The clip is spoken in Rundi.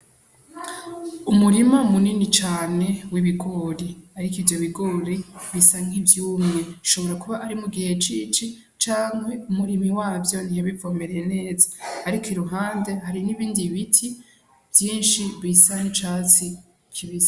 Umurima munini cane w'ibigori, ariko ivyo bigori bisa nk'ivyumye hashobora kuba ari mugihe c'ici canke umurimyi wavyo ntiyabivomereye neza ariko iruhande hari n'ibindi biti vyinshi bisa n'icatsi kibisi.